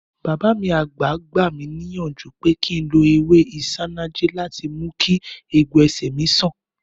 Bàbá mi àgbà gbà mí níyànjú pé kí n lo ewé isanaje láti mú kí egbò ẹsẹ̀ mi san